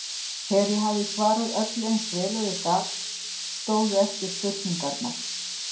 Þegar ég hafði svarað öllu eins vel og ég gat stóðu eftir spurningar